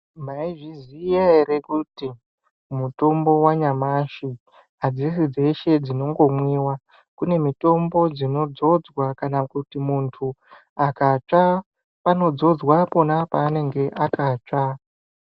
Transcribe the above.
Maizviziya ere kuti mutombo wanyamashi, adzisi dzeshe dzinongomwiwa. Kune mitombo dzinodzodzwa kana kuti muntu akatsva panodzodzwa pona panenge akatsva.